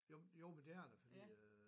Jo jo men det er det fordi øh